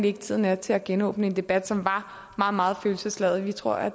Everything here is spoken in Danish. ikke at tiden er til at genåbne en debat som var meget meget følelsesladet vi tror at